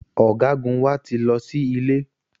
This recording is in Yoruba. Ọ̀gágun wa ti lọ sí ilé